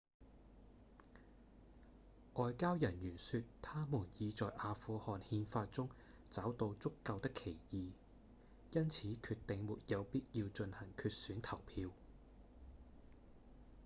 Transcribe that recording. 外交人員說他們已在阿富汗憲法中找到足夠的歧義因此決定沒有必要進行決選投票